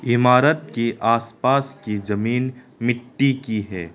इमारत के आसपास की जमीन मिट्टी की है।